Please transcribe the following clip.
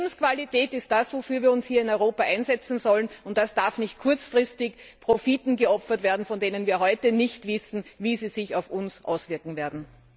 Die Lebensqualität ist das, wofür wir uns hier in Europa einsetzen sollen, und das darf nicht kurzfristigen Profiten geopfert werden, von denen wir heute nicht wissen, wie sie sich auf uns auswirken werden.